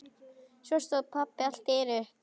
Svo stóð pabbi allt í einu upp.